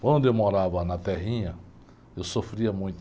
Quando eu morava na terrinha, eu sofria muito.